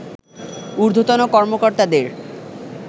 ঊর্ধ্বতন কর্মকর্তাদের